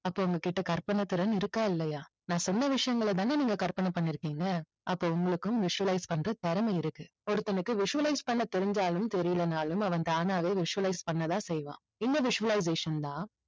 அப்போ உங்ககிட்ட கற்பனைத் திறன் இருக்கா இல்லையா? நான் சொன்ன விஷயங்களை தானே நீங்க கற்பனை பண்ணிருக்கீங்க? அப்போ உங்களுக்கும் visualize பண்ற திறமை இருக்கு. ஒருத்தனுக்கு visualize பண்ண தெரிஞ்சாலும் தெரியலைன்னாலும் அவன் தானாவே visualize பண்ண தான் செய்வான்.